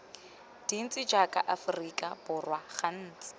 dintsi jaaka aforika borwa gantsi